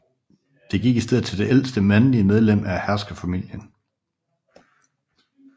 Det gik i stedet til det ældste mandlige medlem af herskerfamilien